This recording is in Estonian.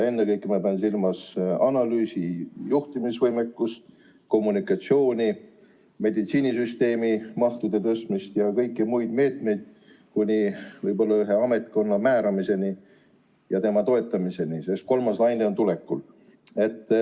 Ennekõike ma pean silmas analüüsi- ja juhtimisvõimekust, kommunikatsiooni, meditsiinisüsteemi mahtude suurendamist ja kõiki muid meetmeid kuni ühe ametkonna määramiseni ja tema toetamiseni välja, sest kolmas laine on tulekul.